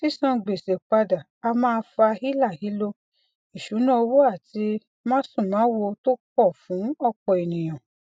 sísan gbèsè padà á má a fa hílàhílo ìṣúnná owó àti másùnmáwo tó pọ fún ọpọ ènìyàn